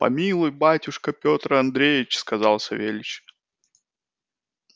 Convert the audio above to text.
помилуй батюшка петр андреевич сказал савельич